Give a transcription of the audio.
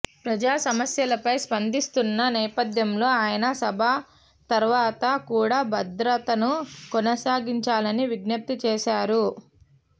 ప్రజా సమస్యలపై స్పందిస్తున్న నేపథ్యంలో ఆయన సభ తర్వాత కూడా భద్రతను కొనసాగించాలని విజ్ఞప్తి చేశారు